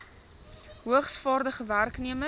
hoogs vaardige werknemers